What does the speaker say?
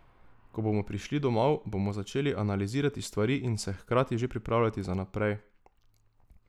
Ko bomo prišli domov, bomo začeli analizirati stvari in se hkrati že pripravljati za naprej.